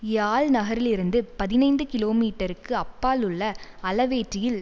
யாழ் நகரிலிருந்து பதினைந்து கிலோ மீட்டருக்கு அப்பால் உள்ள அளவேட்டியில்